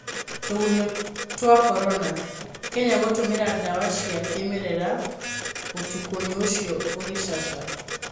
tũgunyũtwa Korona. Kenya gũtũmĩra dawa cia kĩmerera gũkũtũgunyũũcio ũgicaca